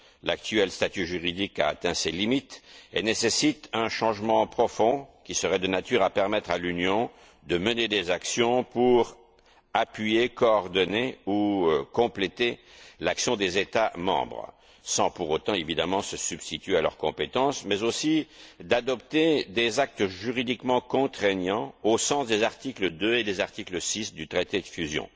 L'actuel statut juridique a atteint ses limites et nécessite un changement profond qui serait de nature à permettre à l'Union de mener des actions pour appuyer, coordonner ou compléter l'action des États membres, sans pour autant, évidemment, se substituer à leurs compétences, mais aussi d'adopter des actes juridiquement contraignants au sens des articles 2 et 6 du traité de fusion.